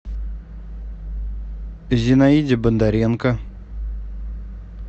зинаиде бондаренко